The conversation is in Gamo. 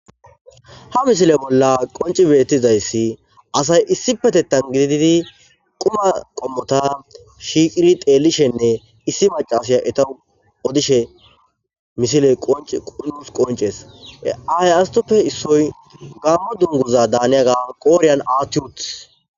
Ha misile bolla qonci betizays assayi issipetetan gidid quma qomota shiiqidi xelishenne issi macasiya etawu odishe misiley qonces. He asatuppe issoyi gamo dunguza daaniyaga qodhiyan aathi utisi.